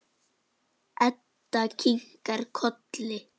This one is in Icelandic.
Edda kinkar kolli.